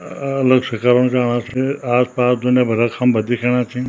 अ अलग से कारण राणा छे आस पास दुनिया भरा खम्बा दिखेणा छिन।